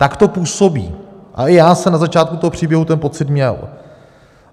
Tak to působí a i já jsem na začátku toho příběhu ten pocit měl.